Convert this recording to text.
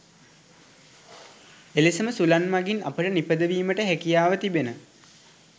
එලෙසම සුළං මගින් අපට නිපදවීමට හැකියාව තිබෙන